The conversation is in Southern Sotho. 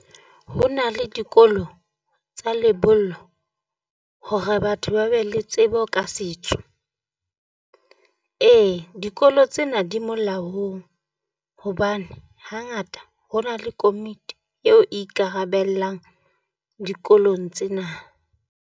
Ho na le dikolo tsa lebollo hore batho ba be le tsebo ka setso. Ee dikolo tsena di molaong hobane hangata ho na le komiti eo e ikarabellang dikolong tsena.